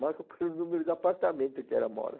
Marco pelo número do apartamento que ela mora.